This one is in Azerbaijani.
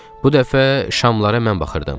Bu dəfə şamlara mən baxırdım.